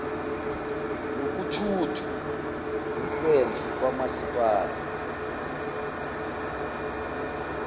nokuthuthwa kwendle kamasipala